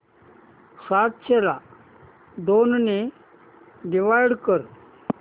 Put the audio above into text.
सातशे ला दोन ने डिवाइड कर